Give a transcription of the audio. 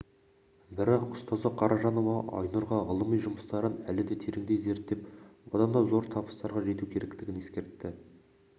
бірақ ұстазы қаражанова айнұрға ғылыми жұмыстарын әлі де тереңдей зерттеп бұдан да зор табыстарға жету керектігін ескертті